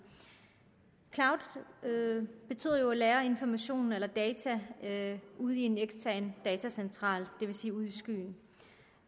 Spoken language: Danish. cloud betyder jo at lagre information eller data ude i en ekstern datacentral det vil sige ude i skyen